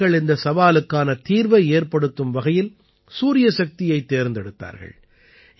மக்கள் இந்தச் சவாலுக்கான தீர்வை ஏற்படுத்தும் வகையில் சூரியசக்தியைத் தேர்ந்தெடுத்தார்கள்